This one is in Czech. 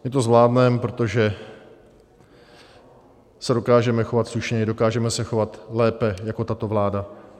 My to zvládneme, protože se dokážeme chovat slušně, dokážeme se chovat lépe jako tato vláda.